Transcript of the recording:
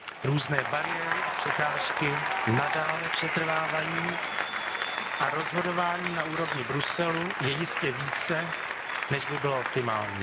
Různé bariéry a překážky nadále přetrvávají a rozhodování na úrovni Bruselu je jistě více, než by bylo optimální.